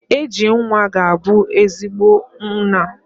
AG nwa ga-abu ezigbo nna kwa.